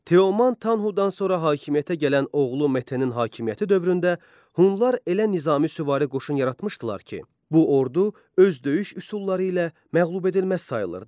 Teoman Tanhudan sonra hakimiyyətə gələn oğlu Metenin hakimiyyəti dövründə Hunlar elə Nizami süvari qoşun yaratmışdılar ki, bu ordu öz döyüş üsulları ilə məğlub edilməz sayılırdı.